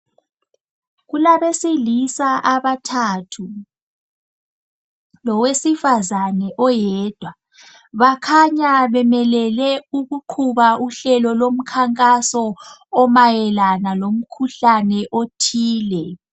Kulabesilisa abathathu lowesifazane oyedwa bakhanya bemelele ukuqhuba uhlelo lomkhankaso omayelana ngomkhuhlane othile.